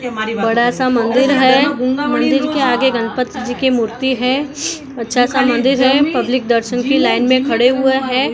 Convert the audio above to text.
बड़ा सा मंदिर है मंदिर के आगे गणपति जी की मूर्ति है अच्छा सा मंदिर है पब्लिक दर्शन की लाइन में खड़े हुए हैं।